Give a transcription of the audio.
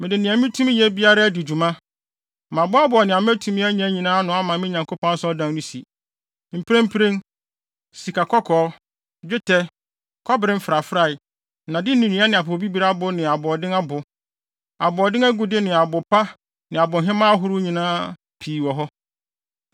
Mede nea mitumi yɛ biara adi dwuma, maboaboa nea matumi anya nyinaa ano ama me Nyankopɔn Asɔredan no si. Mprempren, sikakɔkɔɔ, dwetɛ, kɔbere mfrafrae, nnade ne nnua ne apopobibiri abo ne aboɔden abo, aboɔden agude ne abo pa ne abohemaa ahorow nyinaa pii wɔ hɔ.